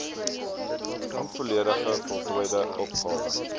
onvolledig voltooide opgawe